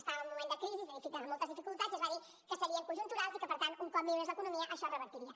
estàvem en un moment de crisi de moltes dificultats i es va dir que serien conjunturals i que per tant un cop millorés l’economia això es revertiria